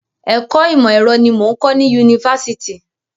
Ẹ̀kọ́ ìmọ̀ ẹ̀rọ ni mò ń kọ ní Yunifásitì.